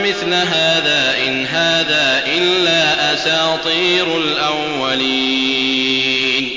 مِثْلَ هَٰذَا ۙ إِنْ هَٰذَا إِلَّا أَسَاطِيرُ الْأَوَّلِينَ